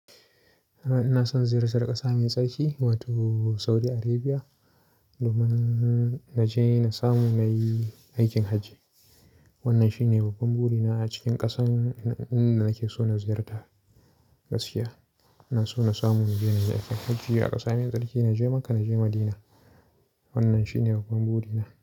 Ina son ziyartar ƙasa mai tsarki, wato Saudi Arabia. Domin na je na samu na yi aikin hajji. Wannan shine babban buri na a cikin ƙasan inda nake so na ziyarta. Gaskiya, ina so na samu na je na yi aikin hajji a ƙasa mai tsarki. Na je Makkah, na je Madina. Wannan shine babban buri na.